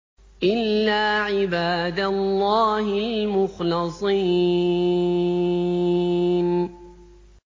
إِلَّا عِبَادَ اللَّهِ الْمُخْلَصِينَ